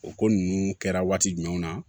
O ko ninnu kɛra waati jumɛnw na